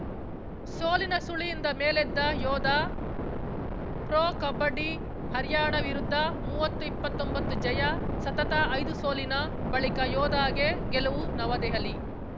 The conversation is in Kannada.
ಸೋಲಿನ ಸುಳಿಯಿಂದ ಮೇಲೆದ್ದ ಯೋಧಾ ಪ್ರೊ ಕಬಡ್ಡಿ ಹರ್ಯಾಣ ವಿರುದ್ಧ ಮೂವತ್ತುಇಪ್ಪತ್ತೊಂಬತ್ತು ಜಯ ಸತತ ಐದು ಸೋಲಿನ ಬಳಿಕ ಯೋಧಾಗೆ ಗೆಲುವು ನವದೆಹಲಿ